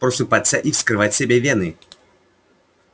просыпаться и вскрывать себе вены